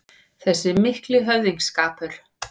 Þessi mikli höfðingsskapur